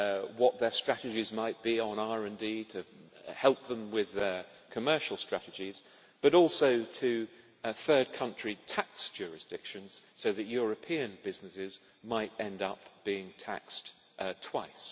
what their strategies might be on RD to help them with their commercial strategies, but also to third country tax jurisdictions, so that European businesses might end up being taxed twice.